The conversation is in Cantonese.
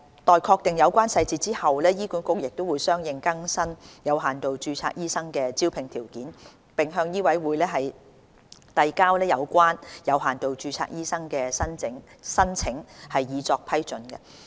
待確定有關執行細節後，醫管局會相應更新有限度註冊醫生的招聘條件，並向醫委會遞交有關的有限度註冊醫生申請，以作批准。